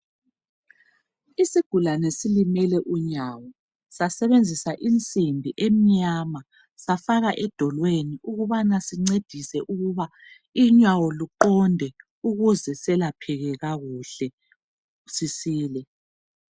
Isigulane silimele unyawo sasebenzisa insimbi emnyama safaka edolweni ukubana sincedise ukuba unyawo luqonde ukuze selapheke kakuhle sisile.